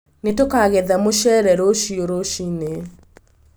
Nĩ tũkagetha mũcere rũcio rũciinĩ.